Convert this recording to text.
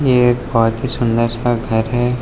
ये एक बहुत ही सुंदर सा घर है।